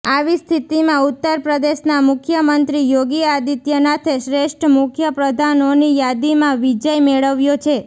આવી સ્થિતિમાં ઉત્તર પ્રદેશના મુખ્યમંત્રી યોગી આદિત્યનાથે શ્રેષ્ઠ મુખ્ય પ્રધાનોની યાદીમાં વિજય મેળવ્યો છે